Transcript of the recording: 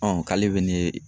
k'ale be ne